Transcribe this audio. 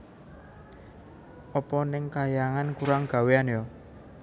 Apa neng kahyangan kurang gawéan ya